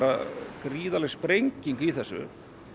gríðarleg sprenging í þessu